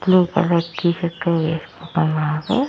Blue colour T shirt వేసుకుంటున్నాడు.